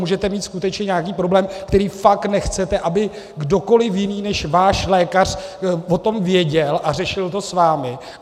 Můžete mít skutečně nějaký problém, který fakt nechcete, aby kdokoliv jiný než váš lékař o tom věděl a řešil to s vámi.